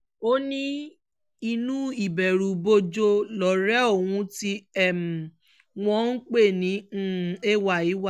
ó ní inú ìbẹ̀rùbojo lọ̀rẹ́ òun tí um wọ́n ń pè ní um ay wà